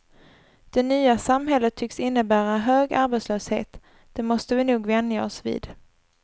Det nya samhället tycks innebära hög arbetslöshet, det måste vi nog vänja oss vid.